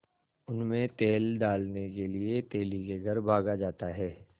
उनमें तेल डालने के लिए तेली के घर भागा जाता है